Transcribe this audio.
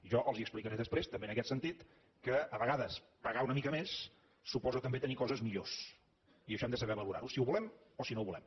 jo els explicaré després també en aquest sentit que a vegades pagar una mica més suposa també tenir coses millors i això hem de saber valorar ho si ho volem o si no ho volem